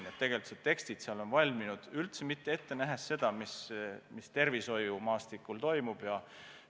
Nii et tegelikult tekstid seal on valminud üldse mitte ette nähes seda, mis tervishoiumaastikul toimuma hakkab.